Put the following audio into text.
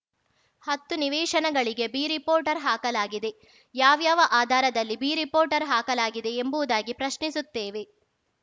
ಹತ್ತು ನಿವೇಶನಗಳಿಗೆ B report ರ್ ಹಾಕಲಾಗಿದೆ ಯಾವ್ಯಾವ ಆಧಾರದಲ್ಲಿ ಬಿ ರಿಪೋರ್ಟ್ ರ್ ಹಾಕಲಾಗಿದೆಯೆಂಬುವುದಾಗಿ ಪ್ರಶ್ನಿಸುತ್ತೇವೆ